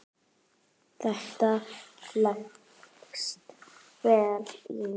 Þetta leggst vel í mig.